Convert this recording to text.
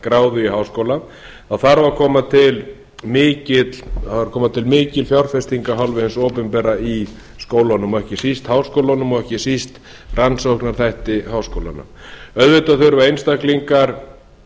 gráðu í háskóla þá þarf að koma til mikil fjárfesting af hálfu hins opinbera í skólunum og ekki síst háskólunum og ekki síst rannsóknaþætti háskólanna auðvitað þurfa einstaklingar